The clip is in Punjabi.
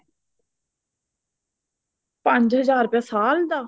ਪੰਜ ਹਜ਼ਾਰ ਰੁਪਯਾ ਸਾਲ ਦਾ